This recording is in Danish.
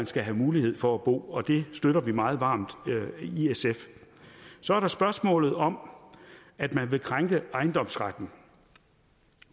skal have mulighed for at bo det støtter vi meget varmt i sf så er der spørgsmålet om at man vil krænke ejendomsretten